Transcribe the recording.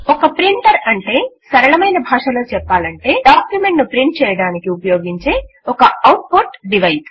ఒక ప్రింటర్ అంటే సరళభాషలో చెప్పాలంటే డాక్యుమెంట్ ను ప్రింట్ చేయడానికి ఉపయోగించే ఒక ఔట్ పుట్ డివైస్